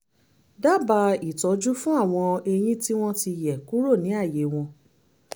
dábàá ìtọ́jú fún àwọn eyín tí wọ́n ti yẹ̀ kúrò ní ààyè wọn